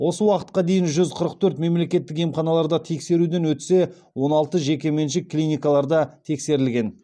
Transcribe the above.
осы уақытқа дейін жүз қырық төрт мемлекеттік емханаларда тексеруден өтсе он алты жекеменшік клиникаларда тексерілген